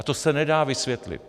A to se nedá vysvětlit.